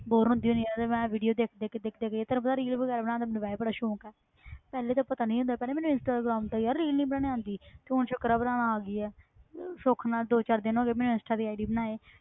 Bore ਹੁੰਦੀ ਹਾਂ ਤੇ ਮੈਂ video ਦੇਖ ਦੇਖ ਕੇ ਦੇਖ ਦੇਖ ਕੇ ਤੈਨੂੰ ਪਤਾ reel ਵਗ਼ੈਰਾ ਬਣਾਉਣ ਦਾ ਮੈਨੂੰ ਵੈਸੇ ਬੜਾ ਸੌਂਕ ਹੈ ਪਹਿਲੇ ਤਾਂ ਪਤਾ ਨੀ ਸੀ ਹੁੰਦਾ, ਪਹਿਲੇ ਮੈਨੂੰ ਇੰਸਟਾਗ੍ਰਾਮ ਤੇ ਯਾਰ reel ਨੀ ਬਣਾਉਂਦੀ ਤੇ ਹੁਣ ਸ਼ੁਕਰ ਹੈ ਬਣਾਉਣਾ ਆ ਗਈ ਹੈ ਸੁੱਖ ਨਾਲ ਦੋ ਚਾਰ ਦਿਨ ਹੋ ਗਏ ਮੈਨੂੰ ਇੰਸਟਾ ਦੀ ID ਬਣਾਏ।